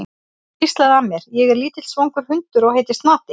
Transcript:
Hún hvíslaði að mér: Ég er lítill svangur hundur og heiti Snati.